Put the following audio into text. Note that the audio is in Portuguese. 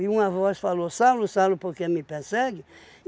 E uma voz falou, Saulo, Saulo, por que me persegue?